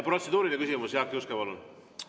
Protseduuriline küsimus, Jaak Juske, palun!